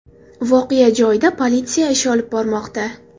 Voqea joyida politsiya ish olib bormoqda.